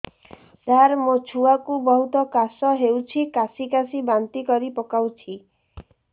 ସାର ମୋ ଛୁଆ କୁ ବହୁତ କାଶ ହଉଛି କାସି କାସି ବାନ୍ତି କରି ପକାଉଛି